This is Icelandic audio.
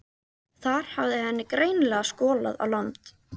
Þar hafði henni greinilega skolað á land.